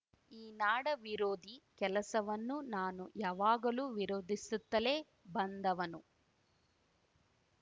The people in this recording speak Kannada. ಈ ನಾಡ ವಿರೋಧಿ ಕೆಲಸವನ್ನು ನಾನು ಯಾವಾಗಲೂ ವಿರೋಧಿಸುತ್ತಲೇ ಬಂದವನು